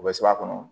U bɛ suruba kɔnɔ